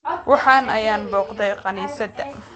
Waxaan ahay booqde kaniisadda